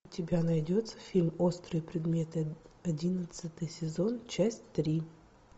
у тебя найдется фильм острые предметы одиннадцатый сезон часть три